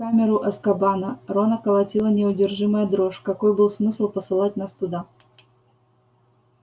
в камеру азкабана рона колотила неудержимая дрожь какой был смысл посылать нас туда